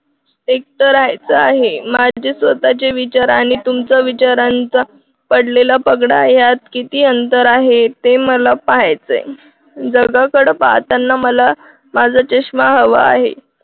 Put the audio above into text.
एक करायचा आहे माझे स्वतःचे विचार आहे. तुमच्या विचारांच्या पडलेला पगडा यात किती अंतर आहे. ते मला पाहायचंय. जगाकडे पाहताना मला माझा चश्मा हवा आहे.